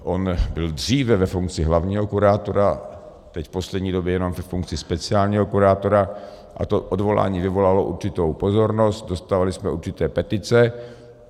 On byl dříve ve funkci hlavního kurátora, teď v poslední době jenom ve funkci speciálního kurátora a to odvolání vyvolalo určitou pozornost, dostávali jsme určité petice.